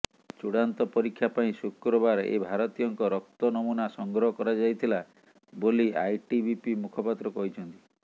ଚୂଡାନ୍ତ ପରକ୍ଷୀ ପାଇଁ ଶୁକ୍ରବାର ଏହି ଭାରତୀୟଙ୍କ ରକ୍ତ ନମୁନା ସଂଗ୍ରହ କରାଯାଇଥିଲା ବୋଲି ଆଇଟିବିପି ମୁଖପାତ୍ର କହିଛନ୍ତି